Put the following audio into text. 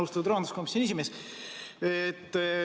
Austatud rahanduskomisjoni esimees!